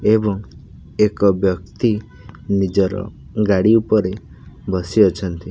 ଏବଂ ଏକ ବ୍ୟକ୍ତି ନିଜର ଗାଡ଼ି ଉପରେ ବସି ଅଛନ୍ତି।